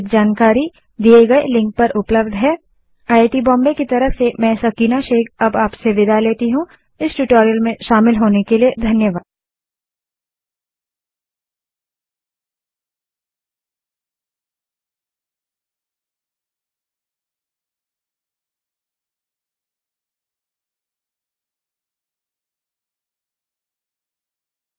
अधिक जानकारी दिए गए लिंक पर उपलब्ध है httpspoken tutorialorgNMEICT Intro यह स्क्रिप्ट देवेन्द्र कैरवान द्वारा अनुवादित है तथा आई आई टी बॉम्बे की तरफ से मैं सकीना अब आप से विदा लेती हूँ